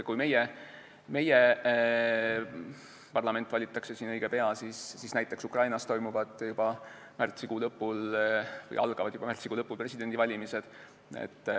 Kui meil valitakse õige pea parlament, siis näiteks Ukrainas algavad märtsikuu lõpul presidendivalimised.